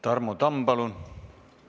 Tarmo Tamm, palun!